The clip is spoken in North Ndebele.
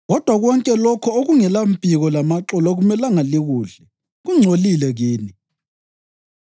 Kodwa konke lokho okungelampiko lamaxolo akumelanga likudle; kungcolile kini.